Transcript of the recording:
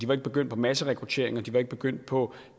var ikke begyndt på masserekruttering og den var ikke begyndt på